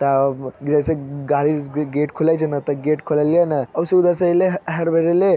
तब जैसे गाडी से गाडी गेट खुलाय छे ना ते गेट खोललिये ना ओसहि उधर से अइले हड़बड़ाएले